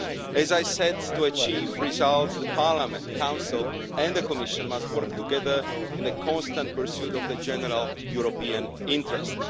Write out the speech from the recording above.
As I said, to achieve results Parliament, the Council and the Commission must work together in the constant pursuit of the general European interest.